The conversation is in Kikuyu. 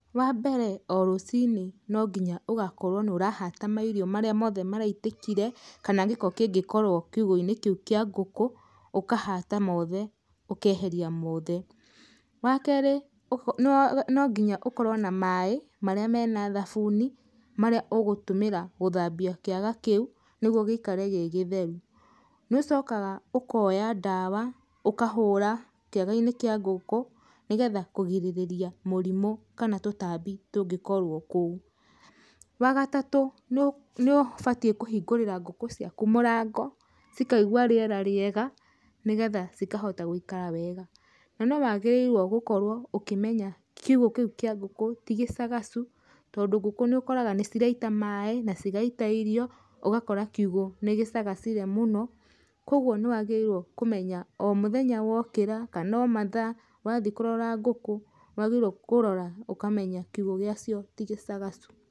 Wa mbere o rũcinĩ no nginya ũgakorwo nĩ ũrahata mairio marĩa mothe maraitĩkire, kana gĩko kĩngĩkorwo kiugo-inĩ kĩu kĩa ngũkũ ũkahata mothe, ũkeheria mothe. Wa kerĩ, no nginya ũkorwo na maaĩ marĩa mena thabuni marĩa ũgũtũmĩra gũthambia kĩaga kĩu, nĩguo gĩikare gĩ gĩtheru. Nĩũcokaga ũkoya ndawa ũkahũra kĩaga-inĩ kĩa ngũkũ, nĩgetha kũgirĩrĩria mũrimũ kana tũtambi tũngĩkorwo kũu. Wa gatatũ, nĩũbatiĩ kũhingũrĩra ngũkũ ciaku mũrango cikaigua rĩera rĩega, nĩgetha cikahota gũikara wega. Na no wagĩrĩirwo gũkorwo ũkĩmenya kiugo kĩu kĩa ngũkũ ti gĩcagacu, tondũ ngũkũ nĩũrakora nĩiraita maaĩ na cigaita irio ũgakora kiugo nĩgĩcagacire mũno, koguo nĩwagĩrĩirwo kũmenya o mũthenya wokĩra, kana o mathaa wathiĩ kũrora ngũkũ nĩwagĩrĩirwo kũrora ũkamenya kiugo gĩ acio ti gĩcagacu.